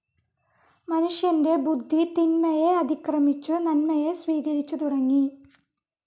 മനുഷ്യൻ്റെ ബുദ്ധി തിന്മയെ അതിക്രമിച്ചു നന്മയെ സ്വീകരിച്ചു തുടങ്ങി.